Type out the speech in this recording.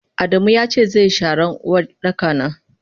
Adamu yace zeyi sharan Uwardaka na.